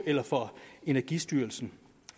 eller fra energistyrelsen